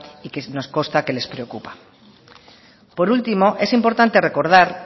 y que nos consta que les preocupa por último es importante recordar